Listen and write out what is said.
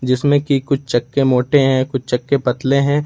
जिसमें की कुछ चक्के मोटे हैं कुछ चक्के पतले हैं।